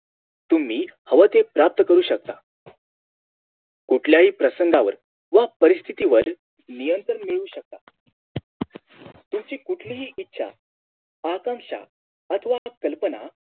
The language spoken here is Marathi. तुम्ही हव ते प्राप्त करू शकता कुठल्याही प्रसंगावर व परिस्थिति नियंत्रण मिळू शकता तुमची कुठलीही इच्छा आकांक्षा आथवा कल्पना